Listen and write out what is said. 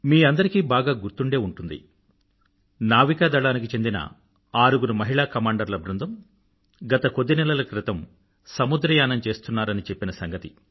మీ అందరికీ బాగా గుర్తుండే ఉంటుంది నావికా దళానికి చెందిన ఆరుగురు మహిళా కమాండర్ల బృందం గత కొద్ది నెలల క్రితం సముద్రయానం చేస్తున్నారని చెప్పిన సంగతి